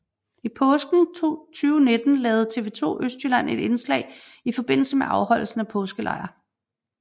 I påsken 2019 lavede TV2 Østjylland et indslag i forbindelse med afholdelsen af Påskelejr